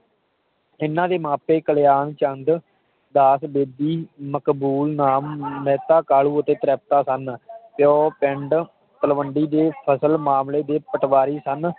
ਇਹਨਾਂ ਦੇ ਮਾਪੇ ਕਾਲਯਾਨਚੰਦ ਦਾਸ ਬੇਦੀ ਮਕਬੁੱਨ ਨਾਮ ਮਹਿਤਾ ਕਾਲੂ ਅਤੇ ਤ੍ਰਿਪਤਾ ਸਨ ਤੇ ਉਹ ਪਿੰਡ ਤਲਵੰਡੀ ਦੇ ਫ਼ਸਲ ਮਾਮਲੇ ਦੇ ਪਟਵਾਰੀ ਸਨ